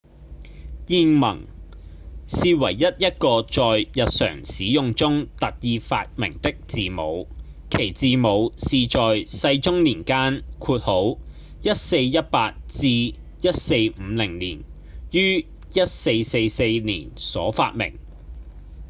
諺文是唯一一個在日常使用中特意發明的字母其字母是在世宗年間 1418-1450 年於1444年所發明